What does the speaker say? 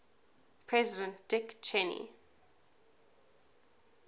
president dick cheney